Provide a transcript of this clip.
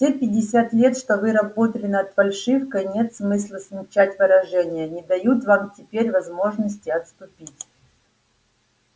все пятьдесят лет что вы работали над фальшивкой нет смысла смягчать выражения не дают вам теперь возможности отступить